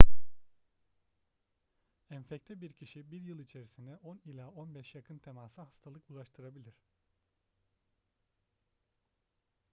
enfekte bir kişi 1 yıl içerisinde 10 ila 15 yakın temasa hastalık bulaştırabilir